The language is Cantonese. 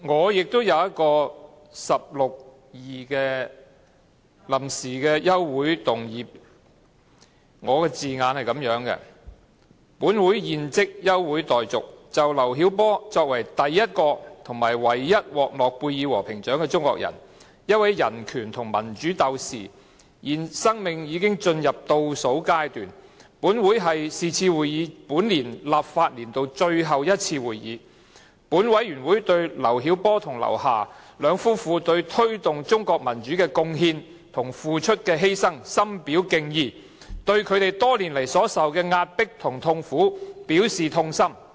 我也想根據《議事規則》第162條提出一項臨時的休會議案辯論，我的議案措辭如下："本會現即休會待續，就劉曉波作為第一位和唯一獲諾貝爾和平獎的中國人、一位人權和民主鬥士，現在生命已經進入倒數階段，而是次會議是本會本立法年度的最後一次會議，本會對劉曉波和劉霞兩夫婦就推動中國民主所作出的貢獻和犧牲深表敬意，並對他們多年來所承受的壓迫和痛苦表示痛心。